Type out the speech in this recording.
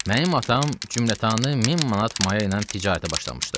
Mənim atam cümlətanı min manat maya ilə ticarətə başlamışdı.